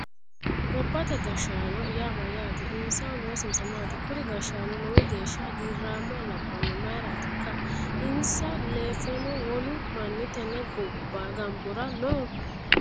Gobbate gashshaano yaa mayyaate? Insahu loosinsano maati? Kuri gashshaanno lowo geya hagiirramma labbanona mayiiratikka? Insa lefono wolu manni tenne gambora noo?